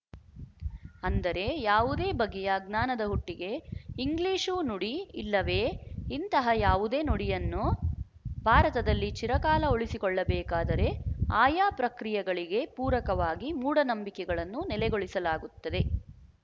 ಅಂದರೆ ಯಾವುದೇ ಬಗೆಯ ಜ್ಞಾನದ ಹುಟ್ಟಿಗೆ ಇಂಗ್ಲಿಶು ನುಡಿ ಇಲ್ಲವೇ ಇಂತಹ ಯಾವುದೇ ನುಡಿಯನ್ನು ಭಾರತದಲ್ಲಿ ಚಿರಕಾಲ ಉಳಿಸಿಕೊಳ್ಳಬೇಕಾದರೆ ಆಯಾ ಪ್ರಕ್ರಿಯೆಗಳಿಗೆ ಪೂರಕವಾಗಿ ಮೂಢನಂಬಿಕೆಗಳನ್ನು ನೆಲೆಗೊಳಿಸಲಾಗುತ್ತದೆ